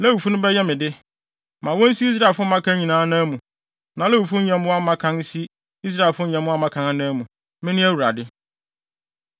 Lewifo no bɛyɛ me de. Ma wonsi Israelfo mmakan nyinaa anan mu, na Lewifo nyɛmmoa mmakan nsi Israelfo nyɛmmoa mmakan anan mu. Mene Awurade.”